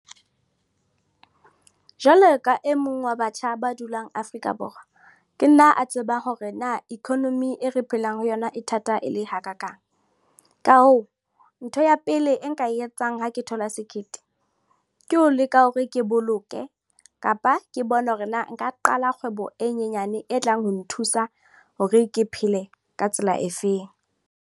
Jwalo ka e mong wa batjha ba dulang Afrika Borwa, ke nna a tseba hore na economy e re phelang ho yona e thata e le hakakang. Ka hoo, ntho ya pele le e nka e etsang ha ke thola sekete ke ho leka hore ke boloke kapa ke bone hore na nka qala kgwebo e nyenyane e tlang ho nthusa hore ke phele ka tsela efeng.